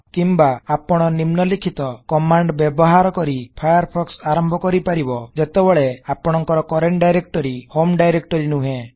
କିମ୍ବା ଆପଣ ନିମ୍ନଲିଖିତ କମାଣ୍ଡ ବ୍ୟବହାର କରି ଫାୟାରଫୋକ୍ସ ଆରମ୍ଭ କରି ପାରିବ ଯେତେବେଳେ ଆପଣକଂର କରେଣ୍ଟ ଡାଇରେକ୍ଟରୀ ହୋମ୍ ଡାଇରେକ୍ଟରୀ ନୁହେଁ